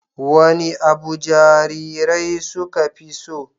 Wane abu jarirai suka fi so?